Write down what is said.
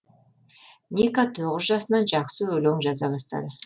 ника тоғыз жасынан жақсы өлеңдер жаза бастады